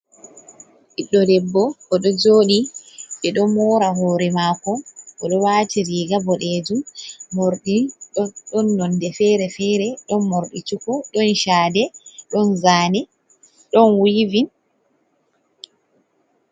Ɓiddo debbo o do joɗi ɓe ɗo mora hore mako, oɗo wati riga boɗejum morɗi ɗon nonde fere-fere, ɗon morɗi cuku, don chade, ɗon zane, ɗon wivin.